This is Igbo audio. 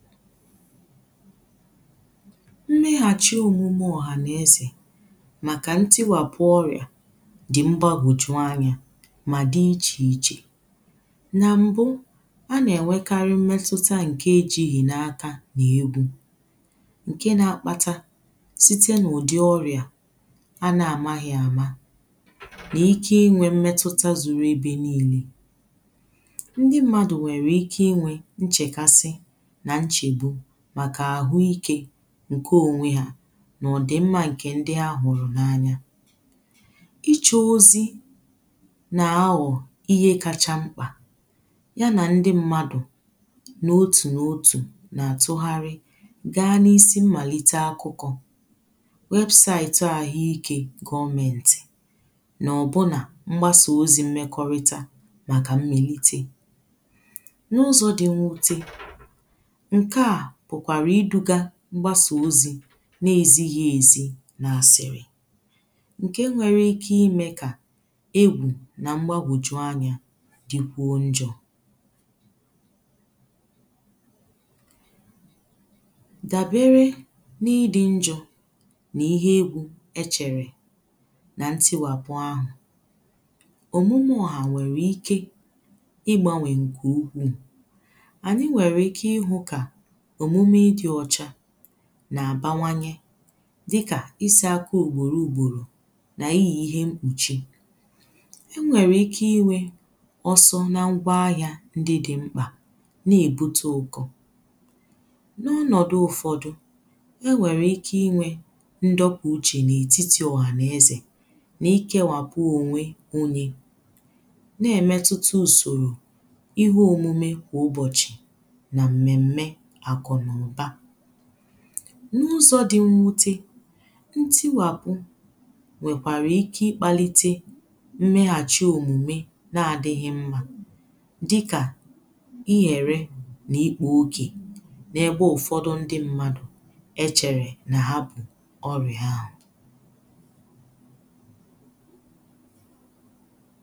Mmeghàchi òmùmè ọ̀hànàezè màkà ntiwàpụ orị̀à dì mgbagòju anyȧ mà di ichè ichè. Na m̀bụ a nà-ènwekarị mmetuta ǹke e jighì n’aka nà egwu, ǹke nȧ-akpata site nà ùdi ọrị̀à a nà-àmaghị àma nà ike inwė mmetuta zùrù ebe niile. Ndị mmadù nwèrè ike inwė nchèkasi n’ichegbu maka ahụ́ ike ǹke onwe ha nà òdì mma ǹkè ndị ha hụrụ̀ n’anya. Ichè ozi nà awọ̀ ihe kacha mkpà ya nà ndị mmadụ̀ n’otù n’otù na àtụgharị gaa n’isi mmàlite akụkọ̀ wėbụ̀saìtụ ahụike gọmėntì nà ọbụnà mgbasà ozi̇ mmekọrịta màkà mmèlite n'uzó dí nwúté ǹkaà bụ̀kwàrà iduga mgbasà ozi̇ n’ezighi èzi na-àsị̀rị̀ ǹke nwere ike imė kà egwù na mgbagwòju anyȧ dikwuo njọ̇. Dàbere n’idi njọ̇ nà ihe egwu e chere nà ntiwàpụ ahụ̀, òmume ọhà nwèrè ike igbanwè nkè ukwu̇. Anyí nwéré ike ihu ka òmume di ochá nà-àbanwanye dịkà isiaka ugboro ugboro n’iyì ihe mkpùchi, e nwèrè ike inwė ọsọ na ngwaahịȧ ndị dị mkpà nà-èbute ụkọ, n’ọnọ̀dụ̀ ụ̀fọdụ e nwèrè ike inwė ndọpụ̀ uchì n’ètitì ọ̀hànaezè nà ikewàpụ ònwe unyi̇ na-èmetutu ùsòrò ihe òmume kwà ụbọ̀chị̀ na mmémé akú n'uba. N’ụzọ̇ dị mwute ntiwàpụ̀ nwèkwàrà ike ịkpàlite mmeghàchi omùme na-adị̇ghị̇ mmȧ dịkà ihere nà ikpu̇ ogè n’egbe ụ̀fọdụ ndị mmadụ̀ e chèrè nà ha bụ̀ ọrị̀ ha ahụ̀